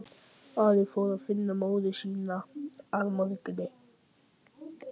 Ari fór að finna móður sína að morgni.